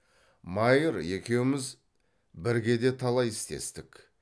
майыр екеуміз бірге де талай істестік